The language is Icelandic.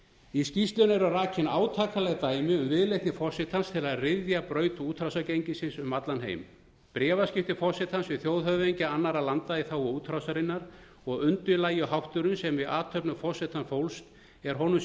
í skýrslunni eru rakin átakanleg dæmi um viðleitni forsetans til að ryðja braut útrásargengisins um allan heim bréfaskipti forsetans við þjóðhöfðingi annarra landa í þágu útrásarinnar og undirlægjuhátturinn sem í athöfnum forsetans fólst er honum